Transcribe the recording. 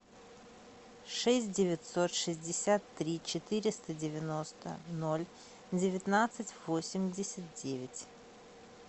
шесть девятьсот шестьдесят три четыреста девяносто ноль девятнадцать восемьдесят девять